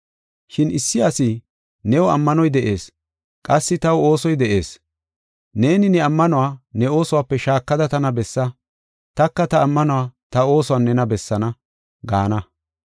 Shin issi asi, “New ammanoy de7ees; qassi taw oosoy de7ees. Neeni ne ammanuwa ne oosuwape shaakada tana bessa; taka ta ammanuwa ta oosuwan nena bessaana” gaana.